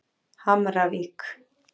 Hamravík